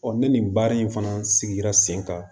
ne nin baara in fana sigira sen kan